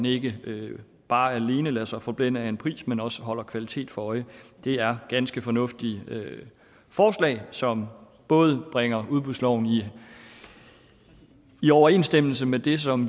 ikke bare alene lader sig forblænde af en pris men også holder kvaliteten for øje det er ganske fornuftige forslag som både bringer udbudsloven i overensstemmelse med det som